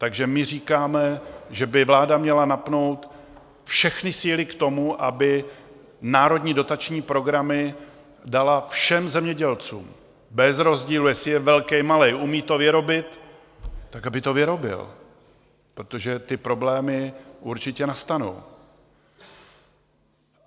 Takže my říkáme, že by vláda měla napnout všechny síly k tomu, aby národní dotační programy dala všem zemědělcům bez rozdílu, jestli je velký, malý - umí to vyrobit, tak aby to vyrobil, protože ty problémy určitě nastanou.